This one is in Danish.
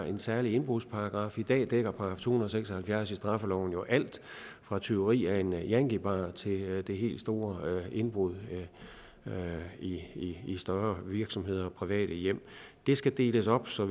en særlig indbrudsparagraf i dag dækker § to hundrede og seks og halvfjerds i straffeloven jo alt fra tyveri af en yankie bar til de helt store indbrud i i større virksomheder og private hjem det skal deles op så